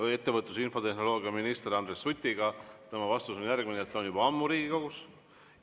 Riigikaitse tugevdamisel peame tegema koostööd mitte ainult NATO‑s, vaid ka partnerriikidega Euroopa Liidus.